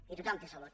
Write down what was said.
i tothom té salut